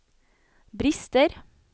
brister